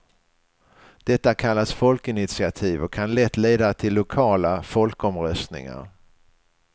Detta kallas folkinitiativ och kan lätt leda till lokala folkomröstningar.